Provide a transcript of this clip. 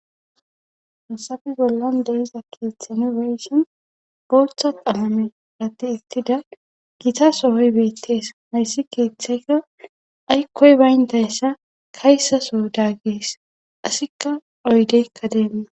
Hasafi bollan deiza keeththenibeyssin boltha qamame ratti ittida gita sohoy beettes mayssi keeththeyka aykkoy bayndayssa kaysaso daggies asikka oydeykka deenna.